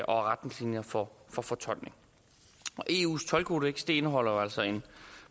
og retningslinjer for for fortoldning eus toldkodeks indeholder jo altså en